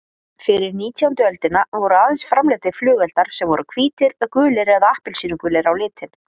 Fyrir nítjándu öldina voru aðeins framleiddir flugeldar sem voru hvítir, gulir eða appelsínugulir á litinn.